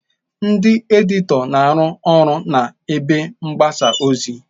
Ndị editọ na-arụ ọrụ na ebe mgbasa ozi.